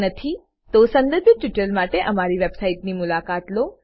જો નથી સંદર્ભિત ટ્યુટોરીયલો માટે અમારી વેબસાઈટની મુલાકાત લો